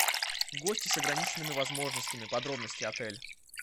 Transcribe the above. гости с ограниченными возможностями подробности отель